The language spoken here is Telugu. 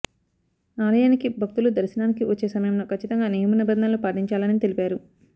ఆలయానికి భక్తులు దర్శనానికి వచ్చే సమయంలో కచ్చితంగా నియమనిబంధనలు పాటించాలని తెలిపారు